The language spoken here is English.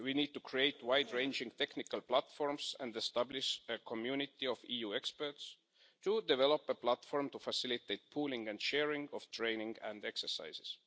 We need to create wide ranging technical platforms and establish a community of EU experts to develop a platform to facilitate the pooling and sharing of training and exercises.